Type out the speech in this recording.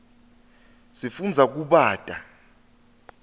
sifundza kubata